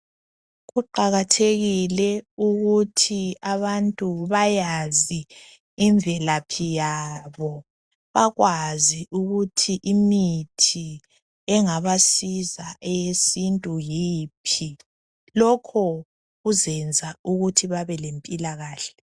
Kuqakathekile ukuthi abantu bayazi imvelaphi yabo, bakwazi ukuthi imithi engabasiza eyesintu yiphi, lokho kuzenza ukuthi babe lempilakahle.